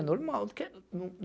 É normal.